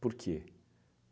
Por quê?